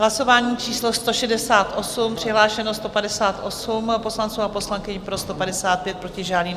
Hlasování číslo 168, přihlášeno 158 poslanců a poslankyň, pro 155, proti žádný.